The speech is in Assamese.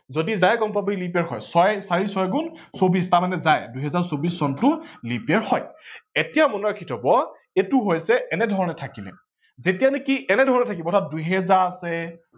যদি যায় গম পাব leap year হয়। চাৰি ছয় গুন চৌবিশ তাৰমানে যায় দুহেজাৰ চৌবিশ চনটো leap year হয় ।এতিয়া মনত ৰাখি থব এইটো হৈছে এনেধৰনে থাকিলে যেতিয়া লেকে এনেধৰনে থাকিব ন দুহেজাৰ আছে